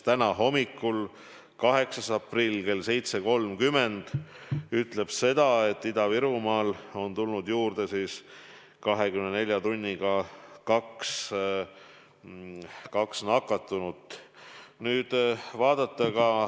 Täna hommikul, 8. aprillil kell 7.30 oli seis selline, et Ida-Virumaal oli tulnud juurde 24 tunniga 2 nakatunut.